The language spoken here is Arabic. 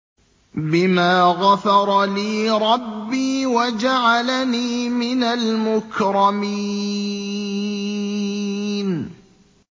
بِمَا غَفَرَ لِي رَبِّي وَجَعَلَنِي مِنَ الْمُكْرَمِينَ